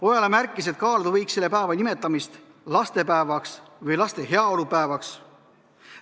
Ojala märkis, et kaaluda võiks selle päeva nimetamist lastepäevaks või laste heaolu päevaks.